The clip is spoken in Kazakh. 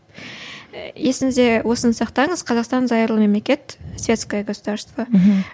есіңізде осыны сақтаңыз қазақстан зайырлы мемлекет светское государство мхм